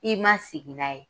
I ma sigi n'a ye.